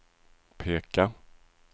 peka